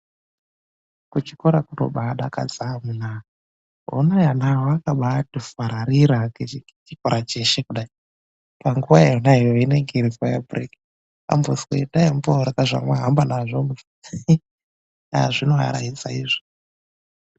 KUCHIKORA KUNOBADAKADZA AMUNAA, HONAI ANA AYA AKABAATI FARARIRA NGECHIKORA CHESHE KUDAI. PANGUWA IYONAYO INENGE IRI NGUWA Yerusesa, AMBONZWI ENDAI MOORYA ZVAMAHAMBA NAZVO, HAA ZVINOARAIDZA IZVI.